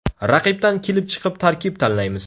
Raqibdan kelib chiqib tarkib tanlaymiz.